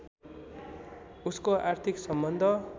उसको आर्थिक सम्बन्ध